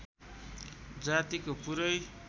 जातिको पुरै